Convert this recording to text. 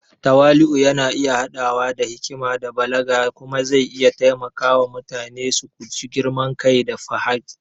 Tawali’u yana iya haɗawa da hikima da balaga kuma zai iya taimaka wa mutane su guji girman kai da fahariya.